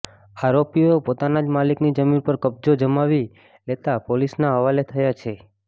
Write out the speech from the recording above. આરોપીઓએ પોતાના જ માલિકની જમીન પર કબ્જો જમાવી લેતા પોલીસના હવાલે થયા છે